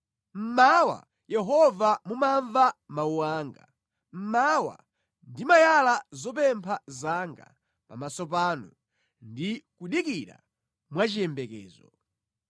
Mmawa, Yehova mumamva mawu anga; Mmawa ndimayala zopempha zanga pamaso panu ndi kudikira mwachiyembekezo.